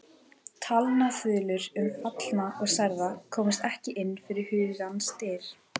Talnaþulur um fallna og særða komust ekki inn fyrir hugans dyr.